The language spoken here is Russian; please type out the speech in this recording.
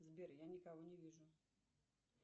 сбер я никого не вижу